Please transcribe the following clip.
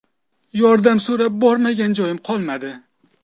Yordam so‘rab bormagan joyim qolmadi.